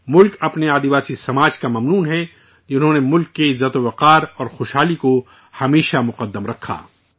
ملک اپنے آدیواسی سماج کا مرہون منت ہے، جنہوں نے ملک کے وقار اور ترقی کو ہمیشہ سب سے اوپر رکھا ہے